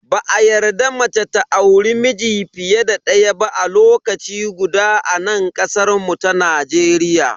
Ba a yarda mace ta auri miji fiye da daya ba a lokaci guda a nan kasar mu ta Najeriya.